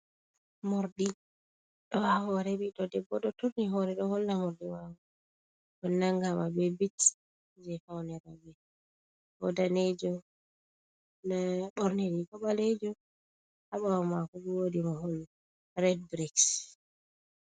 Moorɗi ɗo haa hoore ɓiɗɗo debbo, ɗo turni hoore, ɗo holla moorɗi maako, ɗum nanngaama be biit, jey fawne rowɓe, bo daneejum. Ndaa o ɓorni riiga ɓaleejum, haa ɓaawo maako, woodi mahol red biriks.